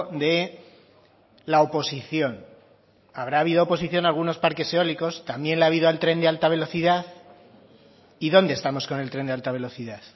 de la oposición habrá habido oposición a algunos parques eólicos también la ha habido al tren de alta velocidad y dónde estamos con el tren de alta velocidad